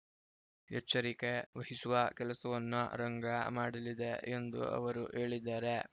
ಎಚ್ಚರಿಕೆ ವಹಿಸುವ ಕೆಲಸವನ್ನು ರಂಗ ಮಾಡಲಿದೆ ಎಂದು ಅವರು ಹೇಳಿದ್ದಾರೆ